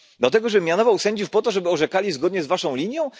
Do tego, żeby mianowano sędziów po to, żeby orzekali zgodnie z waszą linią?